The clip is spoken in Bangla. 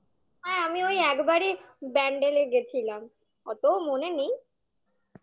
আর আমি ওই একবারই ব্যান্ডেলে গেছিলাম অতো মনে নেই